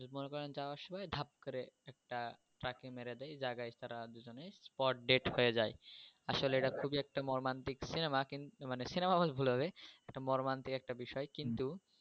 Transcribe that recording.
যদি মনে করেন যাওয়ার সময় ধাপ করে একটা ট্রাক মেরে দেয়, জায়গায় তারা দুজনেই spot dead হয়ে যায়। আসলে এটা খুবই একটা মর্মান্তিক সিনেমা কিন্তু মানে সিনেমা বললে ভুল হবে একটা মর্মান্তিক একটা বিষয়